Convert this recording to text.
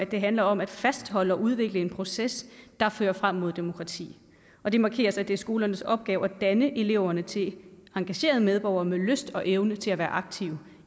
det handler om at fastholde og udvikle en proces der fører frem mod demokrati og det markeres at det er skolernes opgave at danne eleverne til engagerede medborgere med lyst og evne til at være aktive